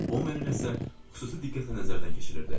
O məni nəsə xüsusi diqqətlə nəzərdən keçirirdi.